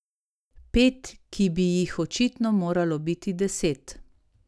Pet, ki bi jih očitno moralo biti deset.